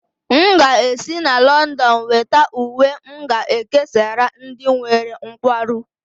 M ga-esi na Lọndọn weta uwe m ga-ekesara ndị nwere nkwarụ